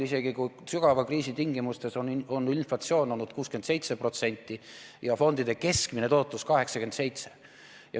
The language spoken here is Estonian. Isegi sügava kriisi tingimustes on inflatsioon olnud 67% ja fondide keskmine tootlus 87%.